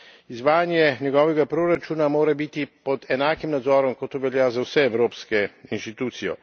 Izvajanje njegovega proračuna mora biti pod enakim nadzorom, kot to velja za vse evropske institucije.